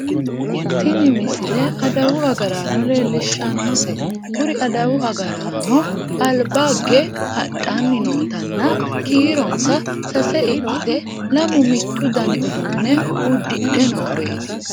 tini misile adawu agraano leellishshanote kuri adawu agaraanono albaagge hadhanni nootanna kiironsa sase ikkite lamu mittu dani uduunne uddihe nooreeti